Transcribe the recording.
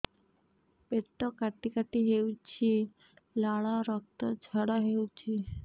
ପେଟ କାଟି କାଟି ହେଉଛି ଲାଳ ରକ୍ତ ଝାଡା ହେଉଛି